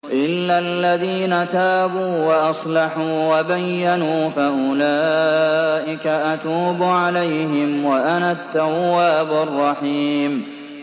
إِلَّا الَّذِينَ تَابُوا وَأَصْلَحُوا وَبَيَّنُوا فَأُولَٰئِكَ أَتُوبُ عَلَيْهِمْ ۚ وَأَنَا التَّوَّابُ الرَّحِيمُ